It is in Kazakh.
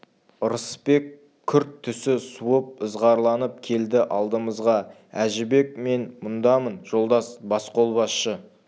ырысбек күрт түсі суып ызғарланып келді алдымызға әжібек мен мұндамын жолдас басқолбасшы